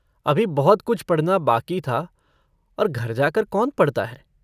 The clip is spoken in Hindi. अभी बहुत-कुछ पढ़ना बाकी था, और घर जाकर कौन पढ़ता है।